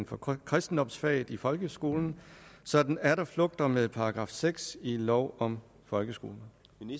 for kristendomsfaget i folkeskolen så den atter flugter med § seks i lov om folkeskolen